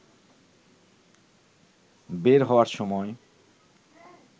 বের হওয়ার সময়